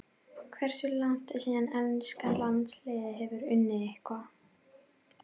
Hversu langt er síðan enska landsliðið hefur unnið eitthvað?